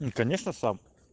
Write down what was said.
мм конечно сам